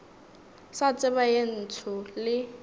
sa tseba ye ntsho le